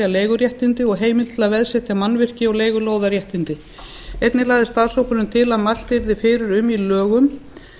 leiguréttindi og heimild til að framselja mannvirki og leigulóðaréttindi einnig lagði starfshópurinn til að mælt yrði fyrir í lögum